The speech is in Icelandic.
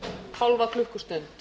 hálfa klukkustund